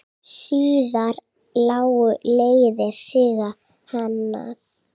Síðar lágu leiðir Sigga annað.